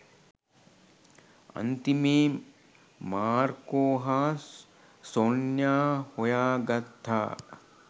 අන්තිමේ මාර්කෝ හා සොන්යා හොයාගත්තා